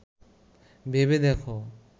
ভেবে দেখ